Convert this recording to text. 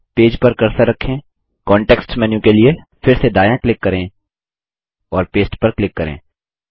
फिर पेज पर कर्सर रखें कॉन्टेक्स्ट मेन्यू के लिए फिर से दायाँ क्लिक करें और पस्ते पर क्लिक करें